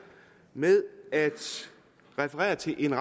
med at referere til en